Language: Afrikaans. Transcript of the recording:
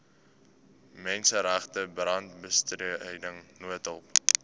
menseregte brandbestryding noodhulp